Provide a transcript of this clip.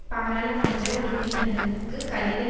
பாராளுமன்ற உறுப்பினர்களுக்கு கடிதம்